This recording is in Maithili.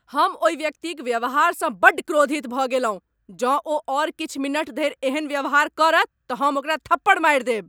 हम ओहि व्यक्तिक व्यवहारसँ बड्ड क्रोधित भऽ गेलहुँ। जौं ओ आओर किछु मिनट धरि एहन व्यवहार करत तऽ हम ओकरा थप्पड़ मारि देब।